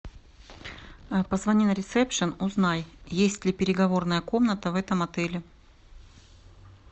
позвони на ресепшн узнай есть ли переговорная комната в этом отеле